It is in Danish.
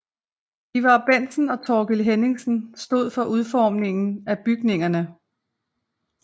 Ivar Bentsen og Thorkild Henningsen stod for udformningen af bygningerne